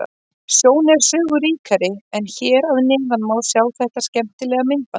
Sjón er sögu ríkari en hér að neðan má sjá þetta skemmtilega myndband.